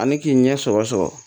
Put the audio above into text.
Ani k'i ɲɛ sɔrɔ sɔrɔ